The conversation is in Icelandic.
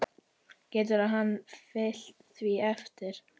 Getur hann fylgt því eftir?